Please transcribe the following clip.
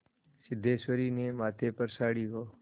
सिद्धेश्वरी ने माथे पर साड़ी को